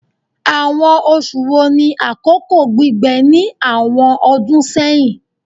Awọn oṣu wo ni akoko gbigbẹ ni awọn ọdun sẹhin?